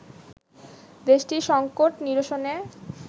দেশটির সংকট নিরসনে